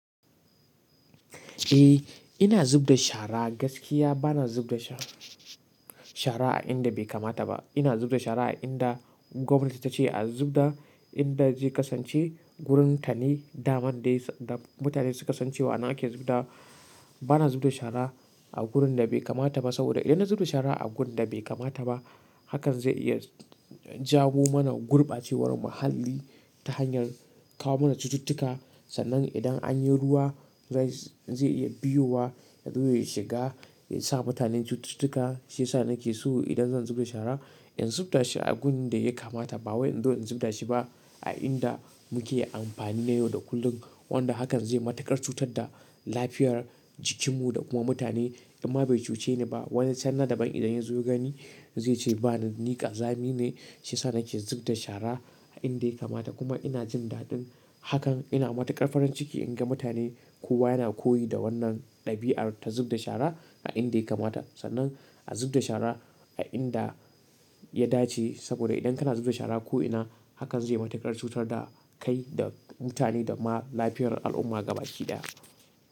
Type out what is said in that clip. Eh, ina zubda shara gaskiya bana zubda sha-shara a inda bai kamata ba. Ina zub da shara a inda gwamnati ta ce a zub da, inda zai kasance wurin tanin, daman da mutane suka san cewa ana ake zu dawa. Bana zubda shara a wurin da bai kamata ba saboda idan na zubda shara a wurin da bai kamata ba, hakan zai iya jawa mana gurɓacewar muhalli ta hanyar kawo mana cututtuka. Sannan idan an yi ruwa zai iya biyowa, ya zo ya shiga, ya sa mutane cututtuka. Shi yasa nake so idan zan zubda shara in zubda a inda ya kamata. Ba wai in zo in zubda shi ba a inda muke amfani na yau da kullum. Wanda hakan zai matuƙar cutar da lafiyar jikinmu da kuma mutane in ma bai cuce ni ba, wani can na daban idan ya zo ya gani zai ce ni ƙazami ne shiyasa nake zub da shara a inda bai kamata ba. Kuma ina jin daɗin hakan, ina matuƙar farin ciki in ga mutane kowa yana koyi da wannan ɗabi'ar ta zub da shara a inda ya kamata. Sannan a zub da shara a inda ya dace saboda idan kana zub da shara ko ina hakan zai yi matuƙar cutar da kai da mutane da ma lafiyar al'umma ga baki ɗaya.